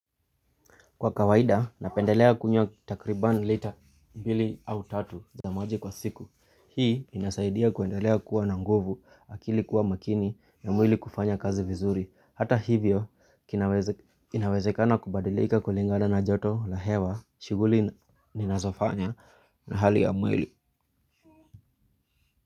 Kwa kawaida, napendelea kunywa takriban lita mbili au tatu za maji kwa siku. Hii, inasaidia kuendelea kuwa na nguvu, akili kuwa makini, ya mwili kufanya kazi vizuri. Hata hivyo, kinaweze inawezekana kubadilika kulingana na joto la hewa, shughuli ninazofanya na hali ya mwili.